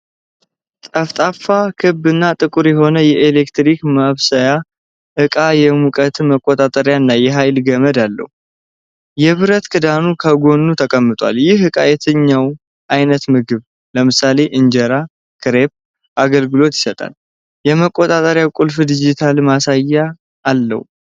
ጠፍጣፋ፣ ክብ እና ጥቁር የሆነ የኤሌክትሪክ ማብሰያ ዕቃ የሙቀት መቆጣጠሪያ እና የኃይል ገመድ አለው። የብረት ክዳኑ ከጎኑ ተቀምጧል። ይህ ዕቃ ለየትኛው ዓይነት ምግቦች (ለምሳሌ እንጀራ፣ ክሬፕ) አገልግሎት ይሰጣል? የመቆጣጠሪያ ቁልፉ ዲጂታል ማሳያ አለው?